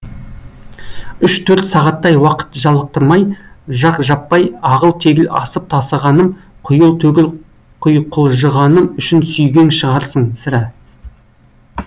үш төрт сағаттай уақыт жалықтырмай жақ жаппай ағыл тегіл асып тасығаным құйыл төгіл құйқылжығаным үшін сүйген шығарсың сірә